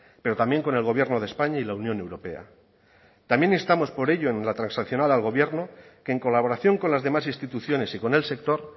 pero también con el gobierno de españa y la unión europea también estamos por ello en la transaccional al gobierno que en colaboración con las demás instituciones y con el sector